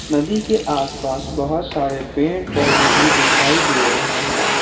नदी के आस पास बहुत सारे पेड़ पौधे भी दिखाई दे रहे हैं।